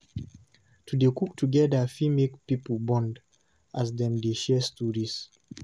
To dey cook together fit make pipo bond, as dem dey share stories.